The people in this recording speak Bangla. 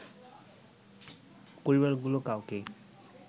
পরিবারগুলো কাউকেই